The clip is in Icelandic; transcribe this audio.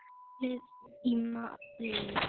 Hjólið í málið.